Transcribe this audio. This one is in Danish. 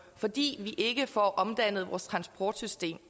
fordi vi ikke får omdannet vores transportsystem